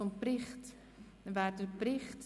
Wir stimmen über den Bericht des Regierungsrats ab.